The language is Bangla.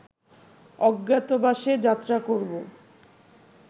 অজ্ঞাতবাসে যাত্রা করব